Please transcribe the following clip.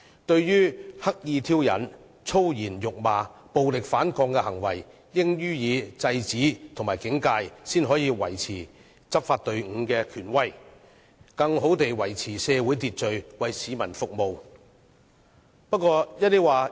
對於刻意挑釁、粗言辱罵和暴力反抗等行為，警方應該予以制止和警戒，才可以維持執法隊伍的權威，更好地維持社會秩序，為市民服務。